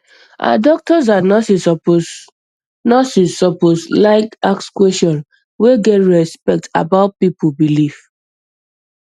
ah doctors and nurses suppose nurses suppose like ask questions wey get respect about people belief